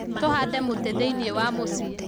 Tũhande mũtĩ thĩiniĩ wa mũciĩ